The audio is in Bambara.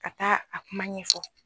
Ka taa a kuma ɲɛfɔ